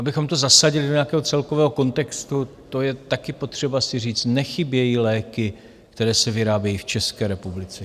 Abychom to zasadili do nějakého celkového kontextu, to je taky potřeba si říct, nechybějí léky, které se vyrábějí v České republice.